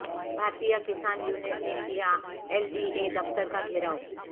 بھارتیہ Kisan union نے کیا L D A دفتر کا گھیراو